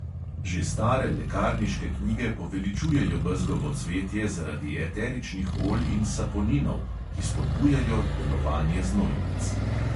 Že stare lekarniške knjige poveličujejo bezgovo cvetje zaradi eteričnih olj in saponinov, ki spodbujajo delovanje znojnic.